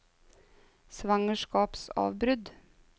svangerskapsavbrudd